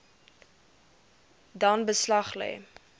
dan beslag lê